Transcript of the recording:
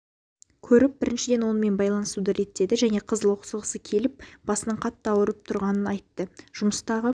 көріп біріншіден онымен байланысуды реттеді және қыз лоқсығысы келіп басының қатты ауырып тұрғанын айтты жұмыстағы